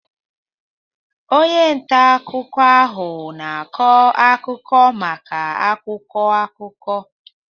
Onye nta akụkọ ahụ na-akọ akụkọ maka akwụkwọ akụkọ